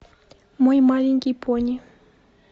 мой маленький пони